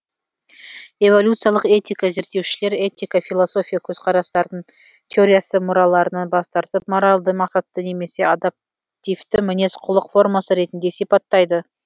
эволюциялық этика зерттеушілер этика философия көзқарастардың теориясы мұраларынан бас тартып моральды мақсатты немесе адаптивті мінез құлық формасы ретінде сипаттайды